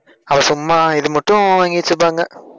அது சும்மா இது மட்டும் வாங்கி வச்சிருப்பாங்க.